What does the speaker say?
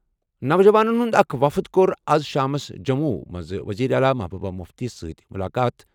نوجوانَن ہُنٛد اکھ وفد کوٚر آز شامَس جموں منٛز وزیر اعلیٰ محبوبہ مُفتیَس سۭتۍ مُلاقات ۔